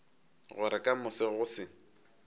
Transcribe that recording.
gore ka moso go se